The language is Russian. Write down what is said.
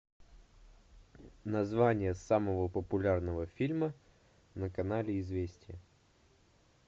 название самого популярного фильма на канале известия